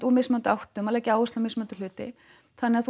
úr mismunandi áttum að leggja áherslu á mismunandi hluti þannig að